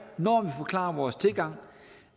når vi forklarer vores tilgang